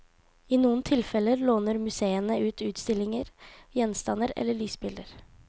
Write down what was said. I noen tilfeller låner museene ut utstillinger, gjenstander eller lysbilder.